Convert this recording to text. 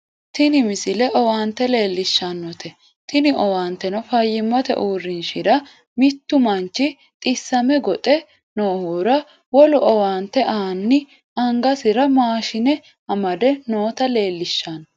tini misile owaante leellishshannote tini owaanteno fayyimmate uurrinshara mittu manchi xissame goxe noohura wolu owaante aanni angasira maashine amade noota leellishshanno